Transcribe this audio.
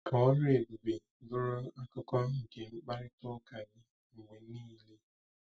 Ka ọrụ ebube bụrụ akụkụ nke mkparịta ụka gị mgbe niile.